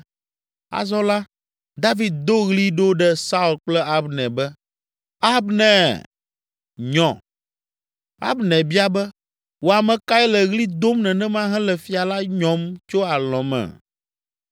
Azɔ la, David do ɣli ɖo ɖe Saul kple Abner be, “Abner, nyɔ!” Abner bia be, “Wò ame kae le ɣli dom nenema hele fia la nyɔm tso alɔ̃ me?”